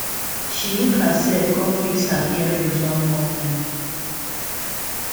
she look herself kon fix her earrings one more time